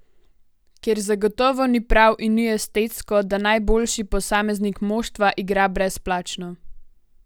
Ker zagotovo ni prav in ni estetsko, da najboljši posameznik moštva igra brezplačno.